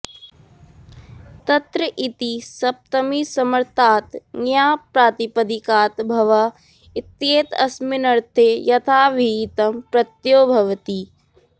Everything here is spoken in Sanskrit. तत्र इति सप्तमीसमर्थात् ङ्याप्प्रातिपदिकात् भवः इत्येतस्मिन्नर्थे यथाविहितं प्रत्ययो भवति